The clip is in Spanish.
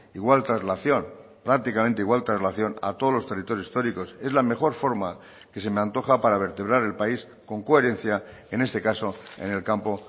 igual traslación prácticamente igual traslación a todos los territorios históricos es la mejor forma que se me antoja para vertebrar el país con coherencia en este caso en el campo